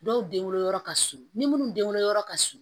Dɔw den wolo yɔrɔ ka surun ni minnu denwoloyɔrɔ ka surun